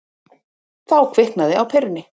Þá kviknaði á perunni.